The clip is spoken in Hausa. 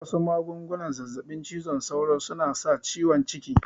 Wasu magungunan zazzaɓin cizon sauron suna sa ciwon ciki